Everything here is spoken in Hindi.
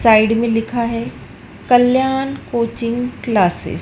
साइड में लिखा है कल्याण कोचिंग क्लासेज ।